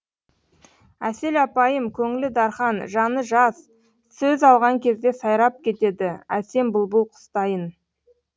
әсел апайым көңілі дархан жаны жазсөз алған кезде сайрап кетеді әсем бұлбұл құстайын